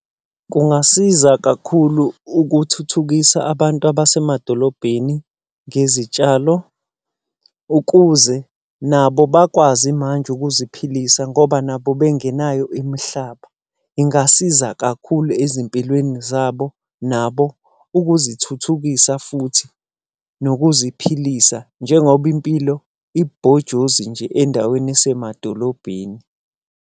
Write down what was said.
Kungasiza kakhulu ukuthuthukisa abantu abasemadolobheni ngezitshalo, ukuze nabo bakwazi manje ukuziphilisa ngoba nabo bengenayo imihlaba. Ingasiza kakhulu ezimpilweni zabo nabo ukuzithuthukisa futhi nokuziphilisa, njengoba impilo ilubhojozi nje endaweni yasemadolobheni.